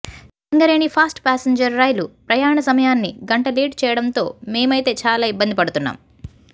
Singareni fast passenger rail ప్రయాణ సమయాన్ని గంట లేటు చేయడంతో మేమైతే చాలా ఇబ్బంది పడుతున్నాం